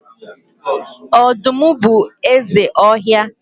ọdụm bụ eze ọhịa.